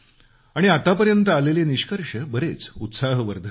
आणि आतापर्यंत आलेले निष्कर्ष बरेच उत्साहवर्धक आहेत